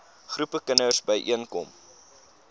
groepe kinders byeenkom